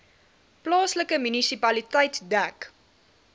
plaaslike munisipaliteit dek